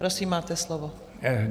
Prosím, máte slovo.